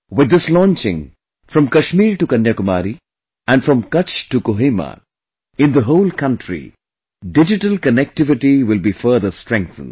With this launching, from Kashmir to Kanyakumari and from Kutch to Kohima, in the whole country, digital connectivity will be further strengthened